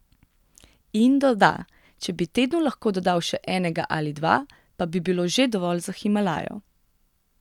In doda: "Če bi tednu lahko dodal še enega ali dva, pa bi bilo že dovolj za Himalajo.